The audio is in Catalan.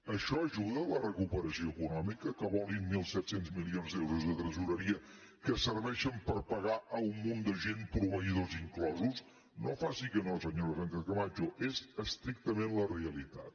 això ajuda a la recuperació econòmica que volin mil set cents milions d’euros de tresoreria que serveixin per pagar un munt de gent proveïdors inclosos no faci que no senyora sánchez camacho és estrictament la realitat